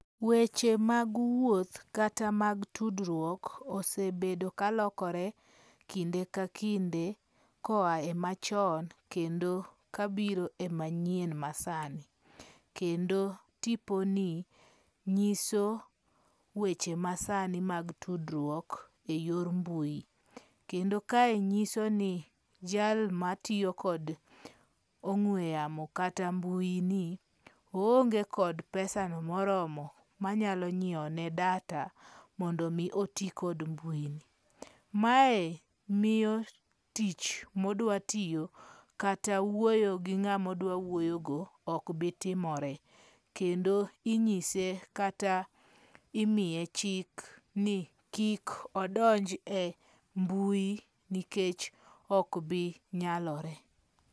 Weche mag wuoth kata mag tudruok, osebedo ka lokore kinde ka kinde koae machon kendo ka biro e manyien masani, kendo tiponi, nyiso weche masani mag tudruok e yor mbui, kendo kae nyisoni jal matiyo kod ong'we yamo kata mbuini, ohonge kod pesano moromo manyalo nyiewone data mondo mi oti kod mbui ni, mae miyo tich ma odwatiyo kata wuoyo gi ngama odwa wuoyogo okbitimore kendo inyise kata imiye chik ni kik odonj e mbui nikech ok binyalore.